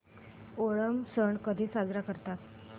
ओणम सण कधी साजरा करतात